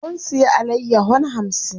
Mun siya alayyahon hamsin.